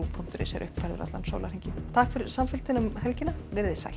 punktur is er uppfærður allan sólarhringinn takk fyrir samfylgdina um helgina verið þið sæl